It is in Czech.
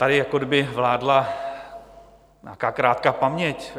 Tady jako kdyby vládla nějaká krátká paměť.